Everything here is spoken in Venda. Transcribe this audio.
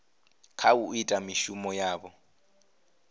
kha u ita mishumo yavho